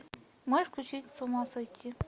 можешь включить с ума сойти